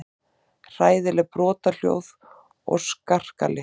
Hræðileg brothljóð og skarkali.